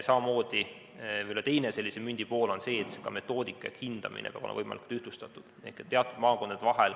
Mündi teine pool on see, et ka metoodika ehk hindamine peab olema võimalikult ühtlustatud.